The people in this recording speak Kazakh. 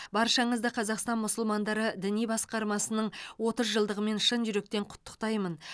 баршаңызды қазақстан мұсылмандары діни басқармасының отыз жылдығымен шын жүректен құттықтаймын